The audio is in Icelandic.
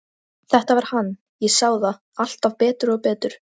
Þetta var hann, ég sá það alltaf betur og betur.